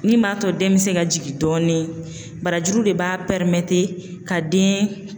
Min b'a to den bɛ se ka jigin dɔɔni barajuru de b'a ka den